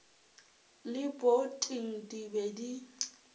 le poting di be di